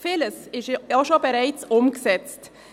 Vieles ist auch schon bereits umgesetzt.